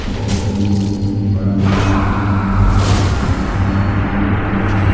इस तस्वीर में बड़ा मैदान दिख रहा है बहुत सारा लोग दिख रहा है।